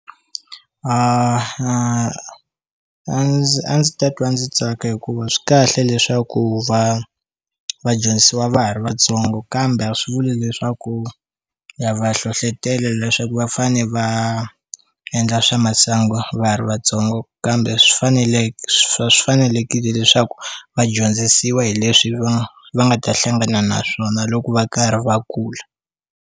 A ndzi a ndzi ta twa ndzi tsaka hikuva swi kahle leswaku va vadyondzisiwa va ha ri vatsongo kambe a swi vuli leswaku ya va hlohlotelo leswi va fane va endla swa masangu va ha ri vatsongo kambe swi faneleke swi fanelekile leswaku va dyondzisiwa hi leswi va va nga ta hlangana na swona loko va karhi va kula.